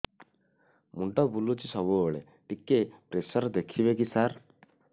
ମୁଣ୍ଡ ବୁଲୁଚି ସବୁବେଳେ ଟିକେ ପ୍ରେସର ଦେଖିବେ କି ସାର